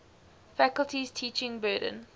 faculty's teaching burden